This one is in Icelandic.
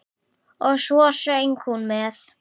Og svo söng hún með.